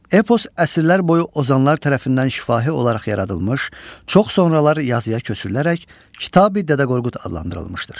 Epos əsrlər boyu ozanlar tərəfindən şifahi olaraq yaradılmış, çox sonralar yazıya köçürülərək Kitabi Dədə Qorqud adlandırılmışdır.